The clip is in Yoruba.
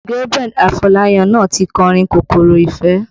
Gabriel Afolayan náà ti kọ orin kòkòrò Ìfẹ́